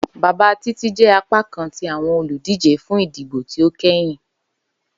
Baba Titi jẹ apakan ti awọn oludije fun idibo ti o kẹhin